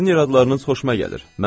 Sizin iradlarınız xoşuma gəlir.